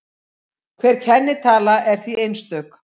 Hver kennitala er því einstök.